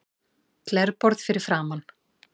Glerborð fyrir framan.